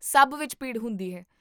ਸਭ ਵਿੱਚ ਭੀੜ ਹੁੰਦੀ ਹੈ